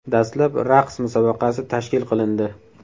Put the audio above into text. Dastlab raqs musobaqasi tashkil qilindi.